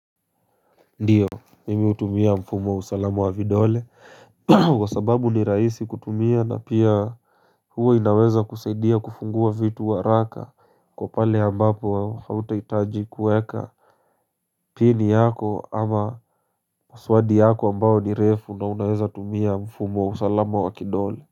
Ndiyo, mimi hutumia mfumo wa usalama wa vidole Kwa sababu ni rahisi kutumia na pia huwa inaweza kusaidia kufungua vitu haraka Kwa pale ambapo hautahitaji kueka Pini yako ama passwadi yako ambao ni refu na unaweza tumia mfumo wa usalama wa kidole.